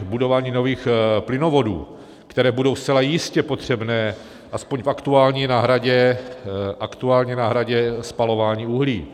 budování nových plynovodů, které budou zcela jistě potřebné aspoň v aktuální náhradě spalování uhlí.